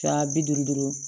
Ka bi duuru duuru